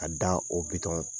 A da o bitɔn